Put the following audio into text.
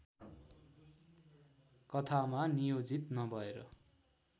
कथामा नियोजित नभएर